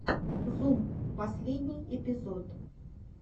зум последний эпизод